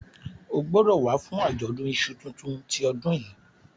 o gbódò wá fún Ajọdun iṣu títún ti odun yí!